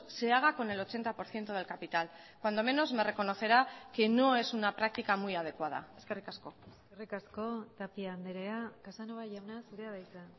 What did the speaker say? se haga con el ochenta por ciento del capital cuando menos me reconocerá que no es una práctica muy adecuada eskerrik asko eskerrik asko tapia andrea casanova jauna zurea da hitza